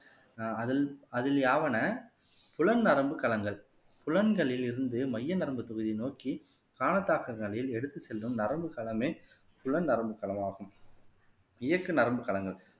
ஆஹ் அதில் அதில் யாவன புலன் நரம்புக் களங்கள் புலன்களிலிருந்து மைய நரம்புத் தொகுதியை நோக்கி எடுத்துச் செல்லும் நரம்புகளமே புலன் நரம்பு தளமாகும் இயக்க நரம்பு களங்கள்